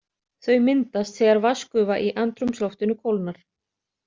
Þau myndast þegar vatnsgufa í andrúmsloftinu kólnar.